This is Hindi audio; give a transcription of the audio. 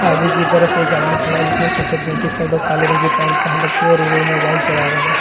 आगे की तरफ एक आदमी खड़ा है जिसने सफेद रंग की शर्ट और काले रंग की पैन्ट पहन रखी है और वो मोबाइल चला रहा है।